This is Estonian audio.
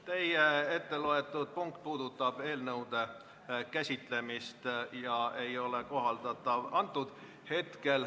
Teie etteloetud punkt puudutab eelnõude käsitlemist ja praegusel juhul see ei kohaldu.